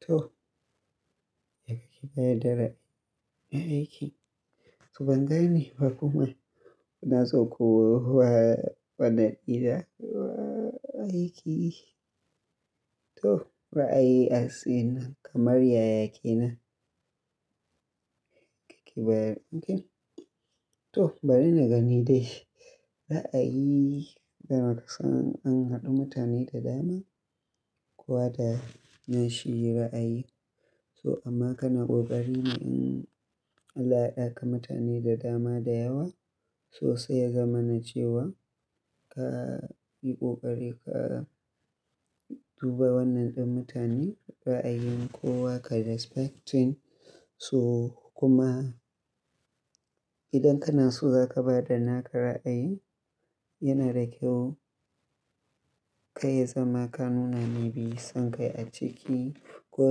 To, yake kika yarda da ra'ayi. So ban gani ba kuma ina so ku wa wannan ido ra'ayi. To, ra'ayi a tsine kamar yaya kenan yake bayar. To bari na gani dai ra'ayi game da kasancewar an haɗu mutane da dama ko da na shirya ra'ayi. To amma kana ƙoƙari ne in Allah ya haɗa ka mutane da dama da yawa sosai ya zama na cewa ka yi ƙoƙari ka duba wannan ɗin mutane ra'ayin kowa ka respecting. To kuma idan kana so za ka ba da naka ra'ayi yana da kyau kar ya zama ka nuna maybe son kai a ciki ko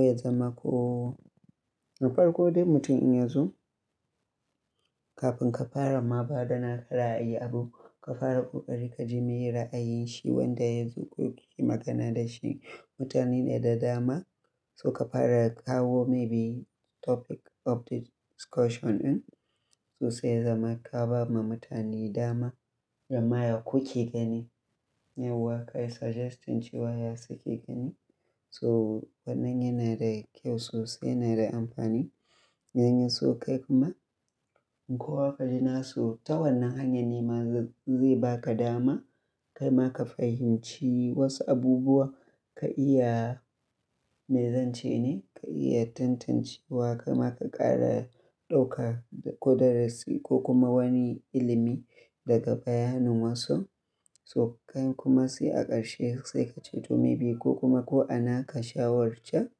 ya zama ko da farko dai mutum in ya zo kafin ka fara ma ba da naka ra'ayi abu ka fara ƙoƙari ka ji me ya yi ra'ayin shi wanda ya zo ko ki yi magana da shi. Mutane ne da dama so ka fara kawo maybe topic of the discussion in so ya zama ka ba ma mutane dama da ma ya kuke gani. Yauwa ka suggesting cewa ya suke gani so wannan yana da kyau sosai yana da amfani. In Ya so kai kuma kowa ka ji na so ta wannan hanyar ne ma zai baka dama kai ma ka fahimci wasu abubuwa ka iya mai zance ne ka iya tantance wa kai ma ka ƙara ɗauka ko darasi ko kuma wani ilimi daga bayanin wasu. So kai kuma sai a ƙarshe sai ka ce to maybe ko kuma ko a naka shawarce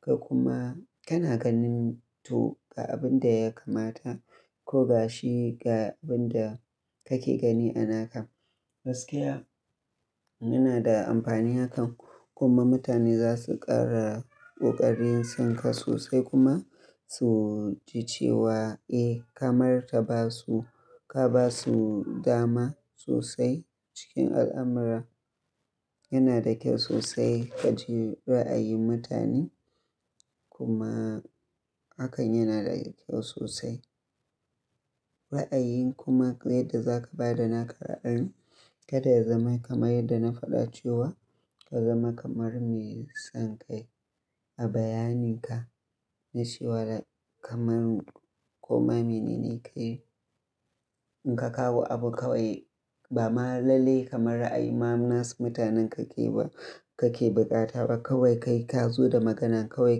ka kuma kana ganin to ga abin da ya kamata ko ga shi ga abin da kake gani a nakan. Gaskiya yana da amfani hakan kuma mutane za su ƙara ƙoƙarin son ka sosai kuma su ji cewa eh kamar ta ba su ka ba su dama sosai cikin al'amura. Yana da kyau sosai ka ji ra'ayin mutane kuma hakan yana da kyau sosai. Ra'ayin kuma yadda za ka ba da naka ra'ayi kada ya zama kamar yadda na faɗa cewa ka zama kamar mai son kai a bayanin ka na cewa da kamar ko ma mene ne ka yi. In ka kawo abu kawai ba ma lalle kamar ra'ayi ma nasu mutanen kake ba kake bukata ba kawai ka yi ka zo da maganan kawai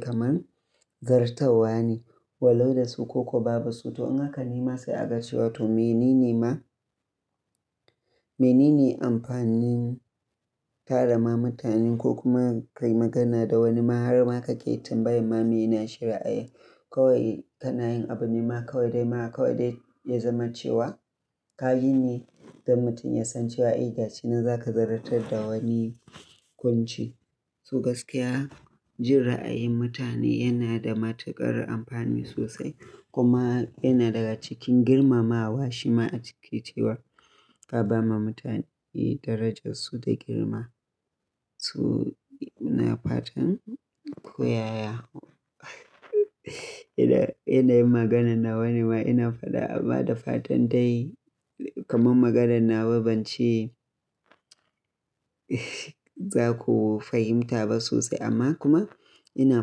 kamar zartarwa ne. Walo da su ko kuwa ba ba su to in haka ne ma sai a ga cewa to mene ne ma mene ne amfanin tara ma mutanen ko kuma ka yi magana da wani ma har ma ka ke tambayan ma me na shirya. Kawai kanayin abu ne ma kawai dai ma kawai dai ya zama cewa ka yi ne don mutum ya san cewa eh ga shi nan za ka ziyartar da wani kunci. So gaskiya ji ra'ayin mutane yana da matuƙar amfani sosai kuma yana daga cikin girmamawa shi ma a ciki cewa ka ba ma mutane darajar su da girma. So ina fatan ko yaya ina yin maganar na wani ma ina faɗa amma da fatan dai kamar maganar nawa ban ce za ku fahimta ba sosai amma kuma ina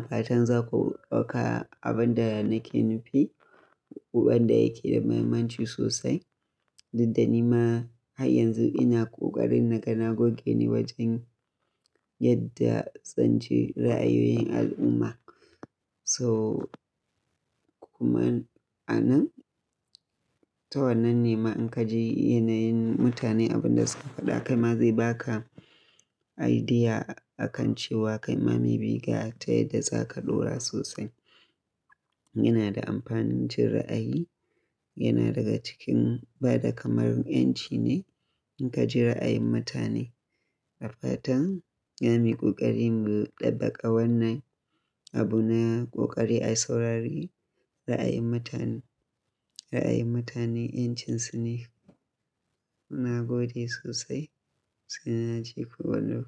fatan za ku ɗauka abin da nake nufi, ƙuɓan da yake da mahimmanci sosai. Duk da ni ma har yanzu ina ƙoƙarin na ga na goge ne wajen yadda tsanci ra'ayoyin al'umma. To kuma a nan ta wannan ne ma in ka ji yanayin mutane abin da suka faɗa kai ma zai baka idea a kan cewa kai ma maybe ga ta yadda za ka ɗora sosai. Yana da amfanin jin ra'ayi, yana daga cikin ba da kamar yanci ne in ka ji ra'ayin mutane. Da fatan za muyi koƙari mu ɗabbaƙa wannan abu na ƙoƙari a saurari ra'ayin mutane, ra'ayin mutane yancin su ne. Na gode sosai sai na ji ku wannan.